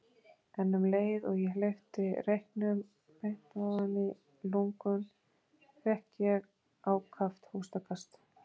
En um leið og ég hleypti reyknum beint ofan í lungun fékk ég ákaft hóstakast.